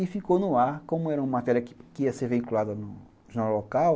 E ficou no ar, como era uma matéria que ia ser vinculada no jornal local.